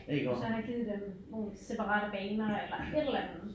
Og så have givet dem nogle separate baner eller et eller andet